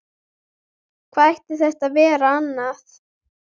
Hvað ætti þetta að vera annað?